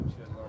Şiyə!